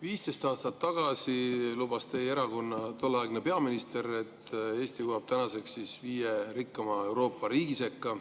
15 aastat tagasi lubas teie erakonna tolleaegne peaminister, et Eesti jõuab tänaseks viie rikkaima Euroopa riigi sekka.